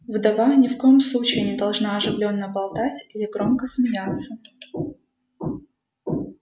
вдова ни в коем случае не должна оживлённо болтать или громко смеяться